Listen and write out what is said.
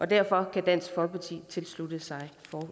derfor kan dansk folkeparti tilslutte sig